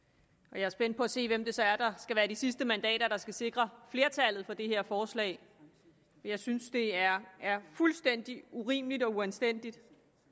er spændt på at se hvem det så er der skal være de sidste mandater der skal sikre flertallet for det her forslag jeg synes det er fuldstændig urimeligt og uanstændigt